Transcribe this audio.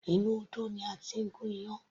Inú odó ni a ti ń gún iyán.